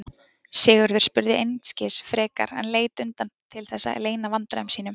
Sigurður spurði einskis frekar en leit undan til þess að leyna vandræðum sínum.